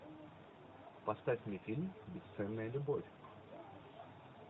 поставь мне фильм бесценная любовь